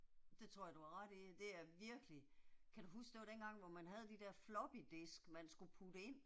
Det tror jeg du har ret i, det er virkelig, kan du huske det var dengang hvor man havde de der floppy disk man skulle putte ind?